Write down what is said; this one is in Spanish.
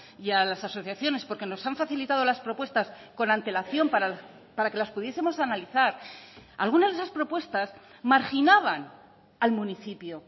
y a las asociaciones porque nos han facilitado las propuestas con antelación para que las pudiesemos analizar algunas de esas propuestas marginaban al municipio